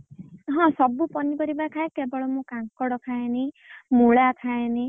ହଁ ସବୁ ପନିପରିବା ଖାଏ କେବଳ କାଙ୍କଡ ଖାଏନି ମୂଳା ଖାଏନି।